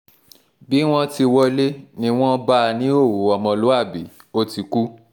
bí wọ́n ti wọlé ni wọ́n bá a níhòòhò ọmọlúàbí ó ti kú